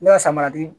Ne ka samara di